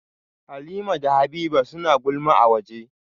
Halimah da Habiba suna ta gulma a waje